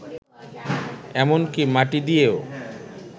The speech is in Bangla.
এমনকি মাটি দিয়েও